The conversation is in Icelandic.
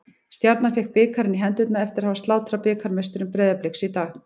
Stjarnan fékk bikarinn í hendurnar eftir að hafa slátrað bikarmeisturum Breiðabliks í dag.